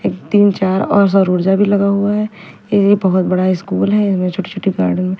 एक तीन चार और सौर ऊर्जा भी लगा हुआ है ये बहोत बड़ा स्कूल है इसमें छोटे छोटे गा--